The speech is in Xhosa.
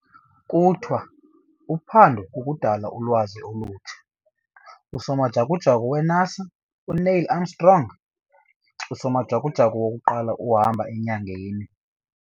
Pull quote- 'Uphando kukudala ulwazi olutsha'. Usomajukujuku weNASA - uNeil Armstrong, usomajukujuku wokuqala ukuhamba enyangeni